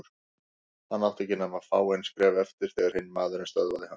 Hann átti ekki nema fáein skref eftir þegar hinn maðurinn stöðvaði hann.